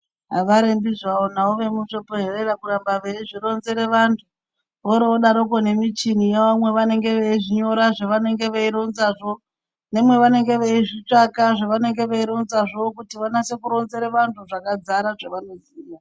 Avarembi zvavo navo vemuzvibhehera kuramba veizvironzera vantu , voro vodaroko nemuchini yavo mwavanenge veizvinyora zvavanenge veironzazvo nemwavanenge veizvitsvaka zvavanenge veironzazvo kuti vanase kuronzera vanhu zvakadzara zvavanoziya.